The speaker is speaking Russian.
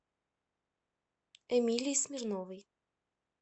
эмилии смирновой